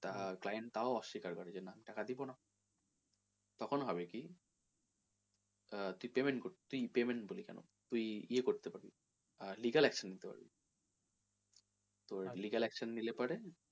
আহ client তাও অস্বীকার করে যে না টাকা দিবো না তখন হবে কি আহ তুই payment করবি আহ payment বলি কেনো তুই ইয়ে করতে পারবি legal action নিতে পারবি তোর legal action নিলে পরে,